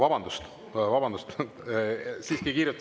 Vabandust-vabandust!